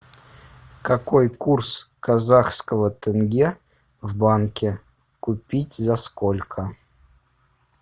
какой курс казахского тенге в банке купить за сколько